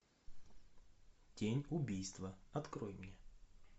тень убийства открой мне